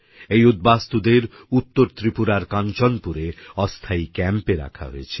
এই উদ্বাস্তুদের উত্তর ত্রিপুরার কাঞ্চনপুরে অস্থায়ী ক্যাম্পে রাখা হয়েছিল